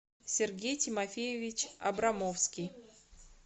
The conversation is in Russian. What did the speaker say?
сергей тимофеевич абрамовский